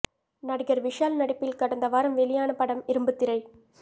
நடிகர் விஷால் நடிப்பில் கடந்த வாரம் வெளியான படம் இரும்புத்திரை